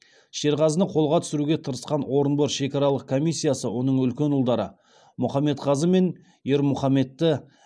шерғазыны қолға түсіруге тырысқан орынбор шекаралық комиссиясы оның үлкен ұлдары мұхамедқазы мен ермұхамедті